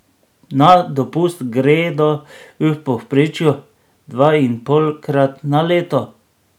Na dopust gredo v povprečju dvainpolkrat na leto.